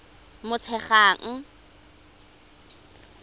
motshegang